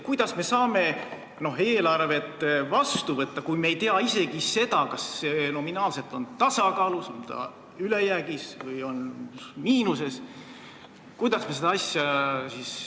Kuidas me saame eelarve vastu võtta, kui me ei tea isegi seda, kas see on nominaalses tasakaalus, ülejäägis või miinuses?